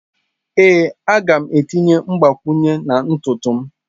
Ee, a ga m etinye mgbakwunye na ntutu m.